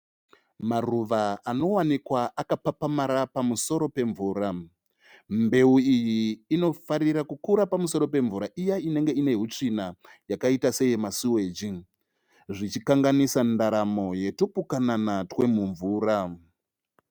Maruva anowanika akapapamara pamusoro pemvura, mbeu iyi inofarira kukura pamusoro pemvura iya inenge ine hutsvina yakaita seye masuweji zvichikanganisa ndaramo yetupukanana twemumvura.